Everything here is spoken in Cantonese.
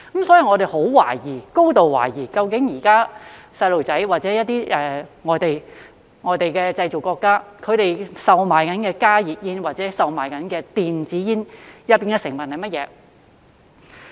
所以，我高度懷疑，究竟現時小朋友吸食的或外國製造商正在售賣的加熱煙或電子煙當中有甚麼成分。